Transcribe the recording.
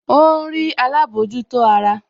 Ó ń rí alámòjútó ara